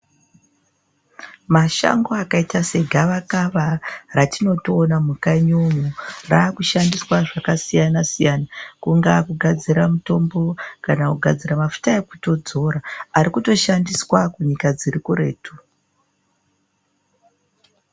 Mashango akaita sejavakava ratinotoona mukanyi umu rakushandiswa zvakasiyana-siyana. Kungaa kugadzira mutombo kana kugadzira mafuta ekutodzora arikutoshandiswa kunyika dziri kuretu.